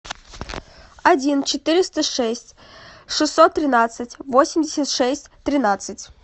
один четыреста шесть шестьсот тринадцать восемьдесят шесть тринадцать